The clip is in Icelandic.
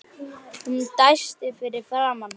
Hún dæsti fyrir framan hann.